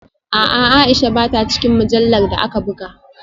A’a, Aisha ba ta cikin mujallar da aka buga